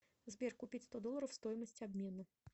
сбер купить сто долларов стоимость обмена